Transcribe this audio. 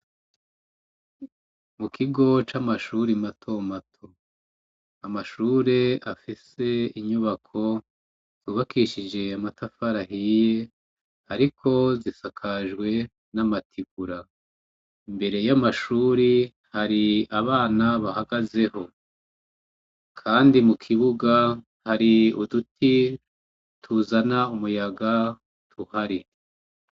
Mu kigo c'amashure matomato. Amashure afise inyubako yubakishije amatafari ahiye, ariko zisakajwe n'amategura. Imbere y'amashuri hari abana bahagazeho. Kandi mu kibuga hari uduti tuzana umuyaga tuhari.